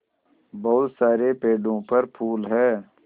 बहुत सारे पेड़ों पर फूल है